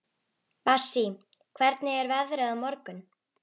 Bassí, hvernig er veðrið á morgun?